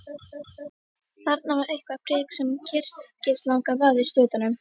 Þarna var eitthvert prik sem kyrkislanga vafðist utan um.